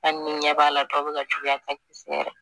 Hali ni ɲɛ b'a la dɔw be ka juguya ka ɲɛ